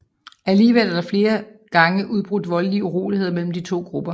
Alligevel er der flere gange ubrudt voldelige uroligheder mellem de to grupper